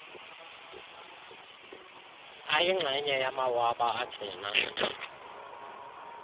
ayingxenye yamawaba agcina